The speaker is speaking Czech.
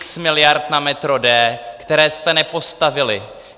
X miliard na metro D, které jste nepostavili.